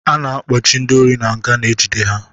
A na-akpọchi ndị ori n'nga na-ejide ha